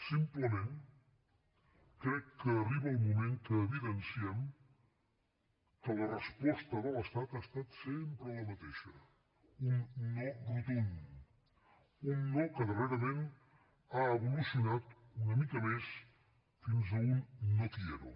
simplement crec que arriba el moment que evidenciem que la resposta de l’estat ha estat sempre la mateixa un no rotund un no que darrerament ha evolucionat una mica més fins a un no quiero